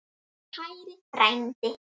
Kæri frændi.